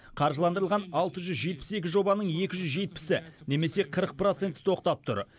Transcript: қаржыландырылған алты жүз жетпіс екі жобаның екі жүз жетпісі немесе қырық проценті тоқтап тұр